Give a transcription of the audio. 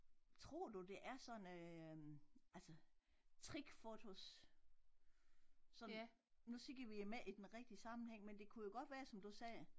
Tror du det er sådan øh altså trickfotos sådan nu ser vi dem ikke i den rigtige sammenhæng men det kunne jo godt være som du sagde